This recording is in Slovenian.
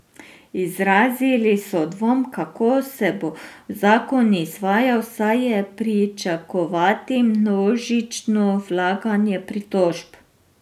Izrazili so dvom, kako se bo zakon izvajal, saj je pričakovati množično vlaganje pritožb.